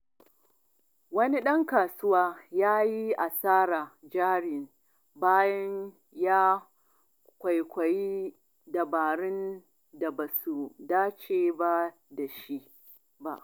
Wani ɗan kasuwa ya yi asarar jari bayan ya kwaikwayi dabarun da ba su dace da shi ba.